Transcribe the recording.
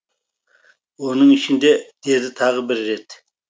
оның ішінде деді тағы бір рет